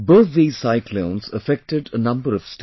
Both these cyclones affected a number of States